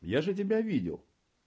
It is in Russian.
я же тебя видел